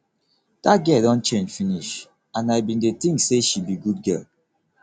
dat girl don change finish and i bin dey think say she be good girl